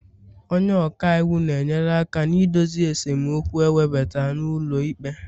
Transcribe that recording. onye ọka iwu na-enyere aka na idozi esemokwu ewebata n'ụlọ ikpe